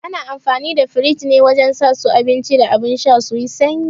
Ana amfani da firij ne wajen sa su abinci da abun sha su yi sanyi